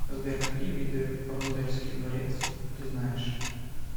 сбер какие виды рундальский дворец ты знаешь